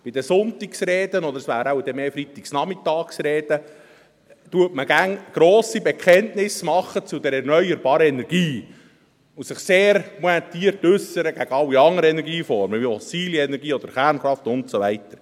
Bei den Sonntagsreden – oder es wären dann wohl eher Freitagnachmittagsreden – gibt man immer grosse Bekenntnisse zur erneuerbaren Energie ab und äussert sich immer sehr pointiert gegen alle anderen Energieformen wie fossile Energien oder Kernkraft und so weiter.